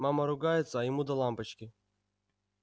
мама ругается а ему до лампочки